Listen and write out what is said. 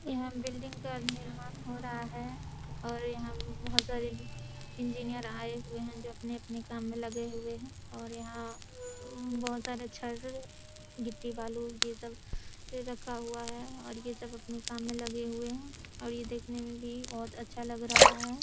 यहाँ बिल्डिंग का निर्माण हो रहा है और यहाँ बहोत सारे इंजिनिअर आए हुए है जो अपने-अपने काम मे लगे हुए है और यहाँ अ बहोत सारे छड़ गिट्टी बालू ये सब रखा हुआ है और ये सब अपने कामे लगे हुए है और ये देखने में भी बहोत अच्छा लग रहा है ।